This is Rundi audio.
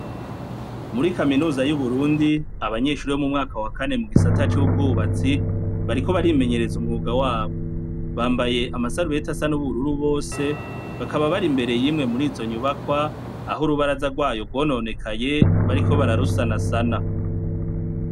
Muri kaminuza y' Uburundi, abanyeshuri bo mu mwaka wa kanegisata c' ubwubatsi, bariko barimenyereza umwuga wabo. Bambaye amasarubeti asa n' ubururu bose, bakaba bari imbere y' Imwe murizo nyubakwa, aho urubaraza rwayo rwononekaye, bariko bararusanasana.